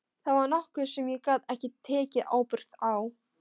Það var nokkuð sem ég gat ekki tekið ábyrgð á.